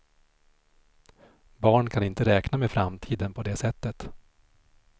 Barn kan inte räkna med framtiden på det sättet.